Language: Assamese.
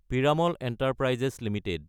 Piramal enterprises Ltd